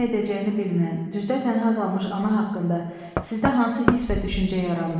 Nə edəcəyini bilməyən, düzdə tənha qalmış ana haqqında sizdə hansı hiss və düşüncə yarandı?